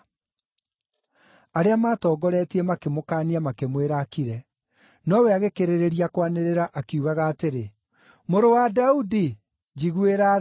Arĩa maatongoretie makĩmũkaania makĩmwĩra akire, nowe agĩkĩrĩrĩria kwanĩrĩra akiugaga atĩrĩ, “Mũrũ wa Daudi, njiguĩra tha!”